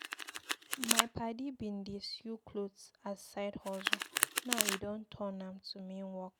My padi bin dey sew clot as side hustle, now e don turn am to main work.